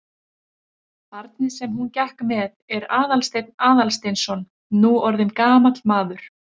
Barnið sem hún gekk með er Aðalsteinn Aðalsteinsson, nú orðinn gamall maður.